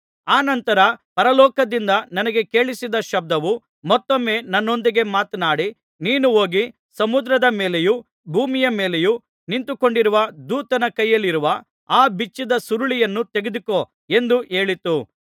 ಅನಂತರ ಪರಲೋಕದಿಂದ ನನಗೆ ಕೇಳಿಸಿದ್ದ ಶಬ್ದವು ಮತ್ತೊಮ್ಮೆ ನನ್ನೊಂದಿಗೆ ಮಾತನಾಡಿ ನೀನು ಹೋಗಿ ಸಮುದ್ರದ ಮೇಲೆಯೂ ಭೂಮಿಯ ಮೇಲೆಯೂ ನಿಂತುಕೊಂಡಿರುವ ದೂತನ ಕೈಯಲ್ಲಿರುವ ಆ ಬಿಚ್ಚಿದ ಸುರುಳಿಯನ್ನು ತೆಗೆದುಕೊ ಎಂದು ಹೇಳಿತು